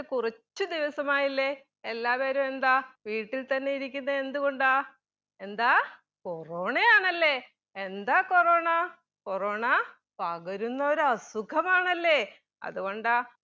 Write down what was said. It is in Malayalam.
കുറച്ച് ദിവസമായില്ലെ എല്ലാവരും എന്താ വീട്ടിൽ തന്നെ ഇരിക്കുന്നെ എന്തു കൊണ്ടാ എന്താ corona യാണല്ലെ? എന്താ coronacorona പകരുന്ന ഒരു അസുഖമാണല്ലെ അത് കൊണ്ടാ